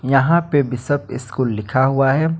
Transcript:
यहां पे Bishop School लिखा हुआ है।